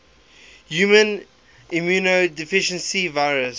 human immunodeficiency virus